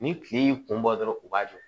Ni kile y'i kun bɔ dɔrɔn u b'a jɔ